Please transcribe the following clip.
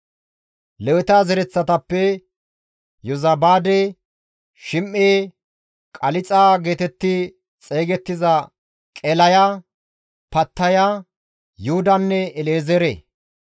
Leweta zereththatappe, Yozabaade, Shim7e, Qalixa geetetti xeygettiza Qelaya, Pattaya, Yuhudanne El7ezeere;